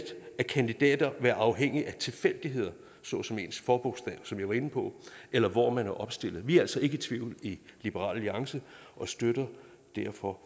af kandidater være afhængigt af tilfældigheder såsom ens forbogstav som jeg var inde på eller af hvor man er opstillet vi er altså ikke i tvivl i liberal alliance og støtter derfor